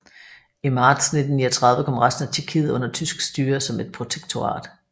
I marts 1939 kom resten af Tjekkiet under tysk styre som et protektorat